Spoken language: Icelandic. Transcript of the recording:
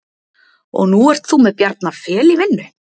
Og nú ert þú með Bjarna Fel í vinnu?